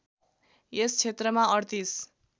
यस क्षेत्रमा ३८